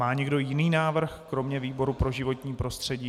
Má někdo jiný návrh kromě výboru pro životní prostředí?